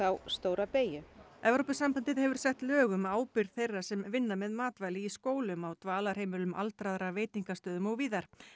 stóra beygju Evrópusambandið hefur sett lög um ábyrgð þeirra sem að vinna með matvæli í skólum á dvalarheimilum aldraðra veitingastöðum og víðar